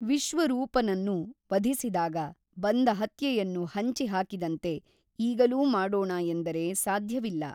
ವಿಶ್ವರೂಪನನ್ನು ವಧಿಸಿದಾಗ ಬಂದ ಹತ್ಯೆಯನ್ನು ಹಂಚಿ ಹಾಕಿದಂತೆ ಈಗಲೂ ಮಾಡೋಣ ಎಂದರೆ ಸಾಧ್ಯವಿಲ್ಲ.